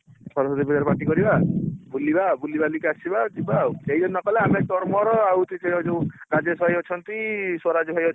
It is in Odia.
ସରସ୍ୱତୀପୂଜା ରେ party କରିବା ବୁଲିବା ବୁଲିବାଲିକିbr ଆସିବା ଯିବା ଆଉ କେହି ଯଦି ନକଲେ ଆମେ ତୋର ମୋର ଆଉ ସେଠି ଯୋଉ ରାଜେଶ ଭାଇ ଅଛନ୍ତି ସ୍ଵରାଜ ଭାଇ